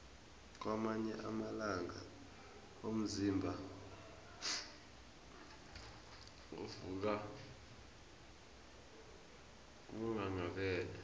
kwamanye amalanga umzimba uvuka unghanghabele